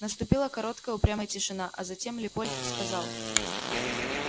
наступила короткая упрямая тишина а затем леопольд сказал